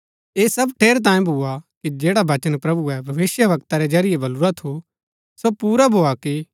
ऐह सब ठेरैतांये भुआ कि जैडा वचन प्रभुऐ भविष्‍यवक्ता रै जरियै बलुरा थू सो पुरा भोआ कि